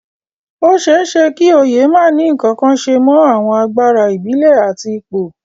Ó ṣeé ṣe kí oyè má ní ǹkankan ṣe mọ àwọn agbára ìbílẹ̀ àti ipò